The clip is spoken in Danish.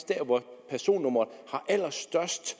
der hvor personnummeret har allerstørst